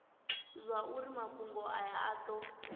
zwauri mafhungo aya a do